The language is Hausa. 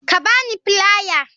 Ka ba ni filiar.